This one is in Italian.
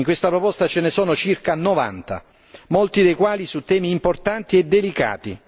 In questa proposta ce ne sono circa 90, molti dei quali su temi importanti e delicati.